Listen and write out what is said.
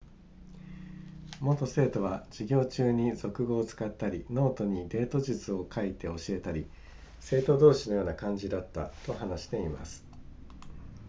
元生徒は授業中に俗語を使ったりノートにデート術を書いて教えたり生徒同士のような感じだったと話しています